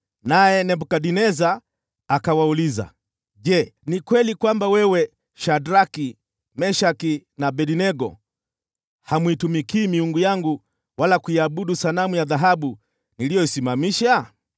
naye Nebukadneza akawauliza, “Je, ni kweli kwamba ninyi Shadraki, Meshaki na Abednego hamuitumikii miungu yangu wala kuiabudu sanamu ya dhahabu niliyoisimamisha?